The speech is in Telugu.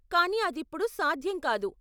కానీ అదిప్ప్పుడు సాధ్యం కాదు.